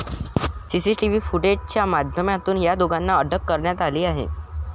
CCTV फुटेजच्या माध्यमातून या दोघांनाही अटक करण्यात आली आहे.